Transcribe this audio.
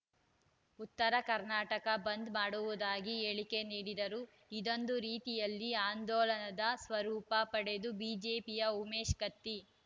ಉತ್ತರ ಕರ್ನಾಟಕ ಬಂದ್‌ ಮಾಡುವುದಾಗಿ ಹೇಳಿಕೆ ನೀಡಿದರು ಇದೊಂದು ರೀತಿಯಲ್ಲಿ ಆಂದೋಲನದ ಸ್ವರೂಪ ಪಡೆದು ಬಿಜೆಪಿಯ ಉಮೇಶ್‌ ಕತ್ತಿ